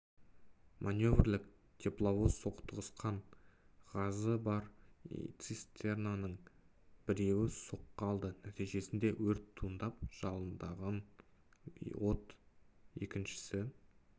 маневрлік тепловоз соқтығысқан ғазы бар цистернаның біреуі соққы алды нәтижесінде өрт туындап жалындаған от екінші